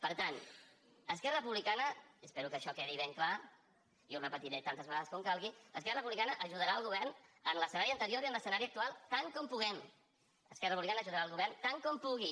per tant esquerra republicana i espero que això quedi ben clar i ho repetiré tantes vegades com calgui ajudarà el govern en l’escenari anterior i en l’escenari actual tant com puguem esquerra republicana ajudarà el govern tant com pugui